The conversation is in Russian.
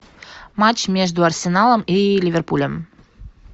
матч между арсеналом и ливерпулем